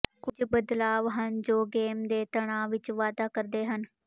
ਕੁਝ ਬਦਲਾਵ ਹਨ ਜੋ ਗੇਮ ਦੇ ਤਣਾਅ ਵਿਚ ਵਾਧਾ ਕਰਦੇ ਹਨ